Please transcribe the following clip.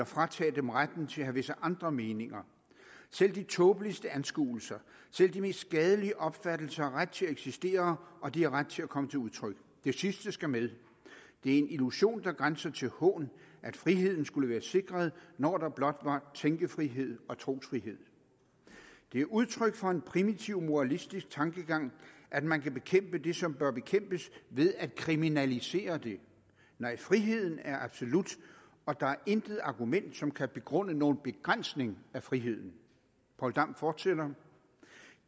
fratage dem retten til at have visse andre meninger selv de tåbeligste anskuelser selv de mest skadelige opfattelser har ret til at eksistere og de har ret til at komme til udtryk det sidste skal med det er en illusion der grænser til hån at friheden skulle være sikret når der blot var tænkefrihed og trosfrihed … det er udtryk for en primitiv moralistisk tankegang at man kan bekæmpe det som bør bekæmpes ved at kriminalisere det … nej friheden er absolut og der er intet argument som kan begrunde nogen begrænsning af friheden poul dam fortsætter